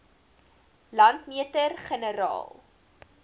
landmeter generaal